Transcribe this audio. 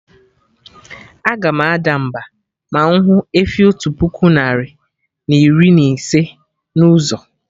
Aga m ada mba, ma mụ hụ efi otu puku narị na iri na ise na ụzọ